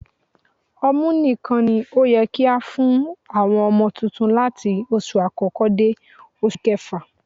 Ọmú nìkan ni ó yẹ kí á fún àwọn ọmọ tuntun láti oṣù àkọ́kọ́ dé oṣù kẹfà